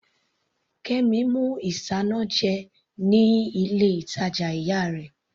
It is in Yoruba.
Kemi mú isanaje ní ilé ìtàjà ìyá rẹ̀.